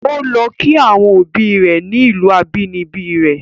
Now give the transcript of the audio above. O lọ kí àwọn obi rẹ̀ ni ìlù abínibí rẹ̀.